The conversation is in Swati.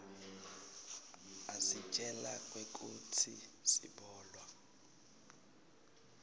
asitjela kwekutsi sibolwa